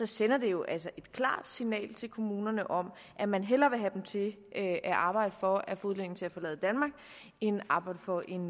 sender det jo et klart signal til kommunerne om at man hellere vil have dem til at arbejde for at få udlændinge til at forlade danmark end arbejde for en